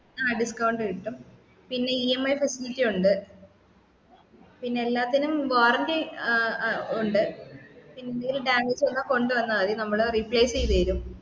ആ discount കിട്ടും പിന്നെ EMIfacility ഉണ്ട് പിന്നെ എല്ലാത്തിനും warranty ഏർ ഏർ ഉണ്ട് ന്തേലും damage വന്നാൽ കൊണ്ടുവന്നാൽ മതി നമ്മള് replace ചെയ്‌തരും